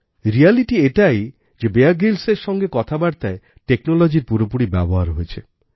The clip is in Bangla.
রিয়ালিটি এটাই যে বিয়ার গ্রিলস এর সাথে কথাবার্তায় টেকনোলজিরপুরোপুরি ব্যবহার হয়েছে